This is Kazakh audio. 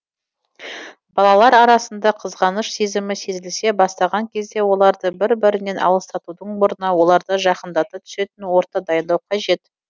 балалар арасында қызғаныш сезімі сезіле бастаған кезде оларды бір бірінен алыстатудың орнына оларды жақындата түсетін орта дайындау қажет